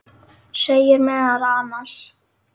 segir meðal annars